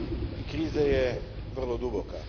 I kriza je vrlo duboka.